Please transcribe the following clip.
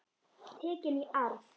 Tekin í arf.